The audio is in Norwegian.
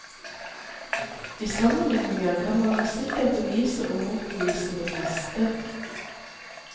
I sammenligninger kan man sikkert bevise og motbevise det meste.